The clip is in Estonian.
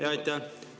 Jaa, aitäh!